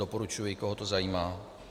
Doporučuji, koho to zajímá.